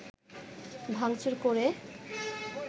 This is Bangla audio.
ভাঙচুর করে